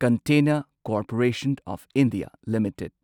container Corporation of India limited